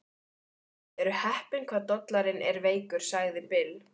Þið eruð heppin hvað dollarinn er veikur, sagði Bill.